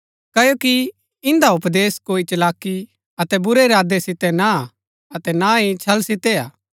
क्ओकि इन्दा उपदेश कोई चलाकी अतै बुरै इरादै सितै ना हा अतै ना ही छल सितै हा